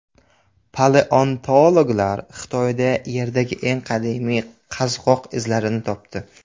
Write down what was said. Paleontologlar Xitoyda Yerdagi eng qadimiy qazg‘oq izlarini topdi.